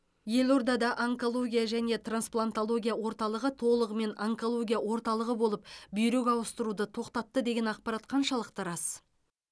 елордада онкология және трансплантология орталығы толығымен онкология орталығы болып бүйрек ауыстыруды тоқтатты деген ақпарат қаншалықты рас